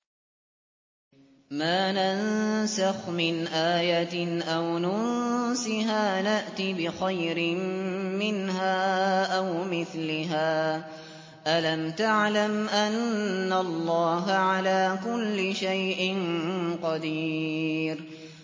۞ مَا نَنسَخْ مِنْ آيَةٍ أَوْ نُنسِهَا نَأْتِ بِخَيْرٍ مِّنْهَا أَوْ مِثْلِهَا ۗ أَلَمْ تَعْلَمْ أَنَّ اللَّهَ عَلَىٰ كُلِّ شَيْءٍ قَدِيرٌ